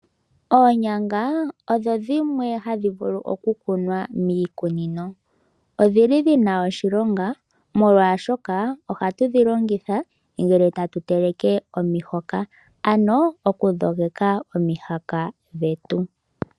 Oonyanga odho dhimwe ha dhi vulu okukunwa miikunino. Odhi li dhi na oshilonga molwashoka oha tu dhi longitha ngele tatu teleke omihoka, ano okudhogeka omihoka dhetu.